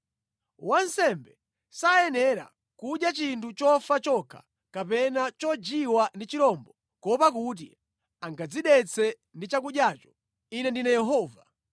Wansembe sayenera kudya chinthu chofa chokha kapena chojiwa ndi chirombo kuopa kuti angadzidetse ndi chakudyacho. Ine ndine Yehova.